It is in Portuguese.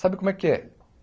Sabe como é que é?